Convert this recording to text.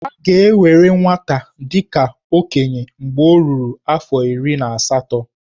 A ga-ewere nwata dị ka okenye mgbe o ruru afọ iri na asatọ.